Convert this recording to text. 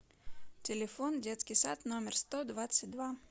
телефон детский сад номер сто двадцать два